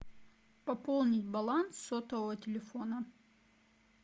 пополнить баланс сотового телефона